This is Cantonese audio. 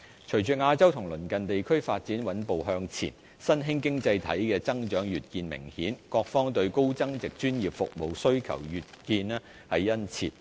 隨着亞洲及鄰近地區發展穩步向前，新興經濟體的增長越見明顯，各方對高增值專業服務需求越見殷切。